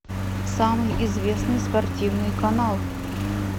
самый известный спортивный канал